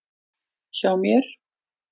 Hjá mér.